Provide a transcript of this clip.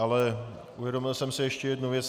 Ale uvědomil jsem si ještě jednu věc.